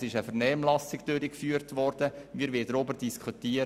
Es wurde eine Vernehmlassung durchgeführt, und wir wollen darüber diskutieren.